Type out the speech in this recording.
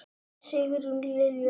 Sigrún Lilja.